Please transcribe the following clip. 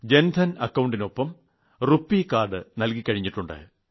ജൻധൻ അക്കൌണ്ടിനൊപ്പം RuPay card നൽകി കഴിഞ്ഞിട്ടുണ്ട്